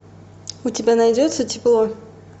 у тебя найдется тепло